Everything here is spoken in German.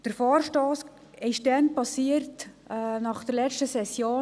Der Vorstoss entstand nach der letzten Session.